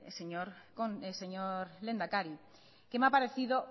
señor lehendakari que me ha parecido